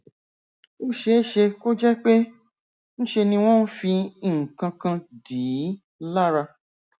ó ṣeé ṣe kó jẹ pé ńṣe ni wọn ń fi nǹkan kan dì í lára